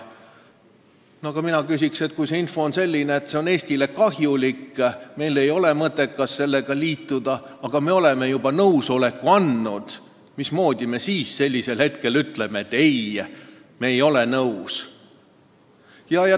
Aga mina küsin: kui info on selline, et see on Eestile kahjulik ja meil ei ole mõtet sellega liituda, ent me oleme juba nõusoleku andnud, mismoodi me siis ühel hetkel ütleme, et me ei ole nõus?